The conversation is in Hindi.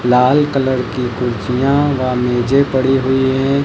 लाल कलर की कुर्सियां व मेजे पड़ी हुई हैं।